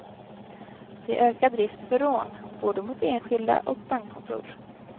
Det är ökad risk för rån, både mot enskilda och bankkontor.